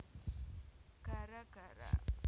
Gara Gara